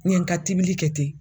N ye n ka tibili kɛ ten